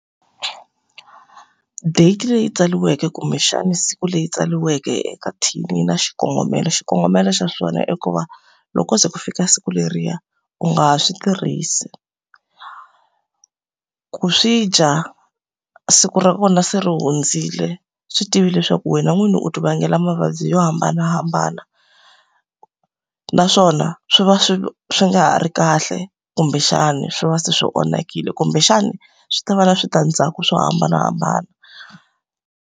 Date leyi tsariweke kumbexana siku leri tsariweke eka thini yi na xikongomelo. Xikongomelo xa swona i ku va loko se ku fika siku leriya, u nga ha swi tirhisi. Ku swi dya siku ra kona se ri hundzile, swi tive leswaku wena n'wini u ti vangela mavabyi yo hambanahambana. Naswona swi va swi swi nga ha ri kahle kumbexani swi va se swi onhakile, kumbexani swi ta va na switandzhaku swo hambanahambana.